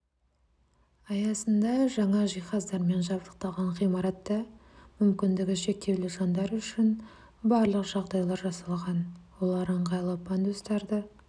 аясында жаңа жиһаздармен жабдықталған ғимаратта мүмкіндігі шектеулі жандар үшін барлық жағдайлар жасалған олар ыңғайлы пандустарды